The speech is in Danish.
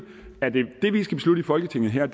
folketinget her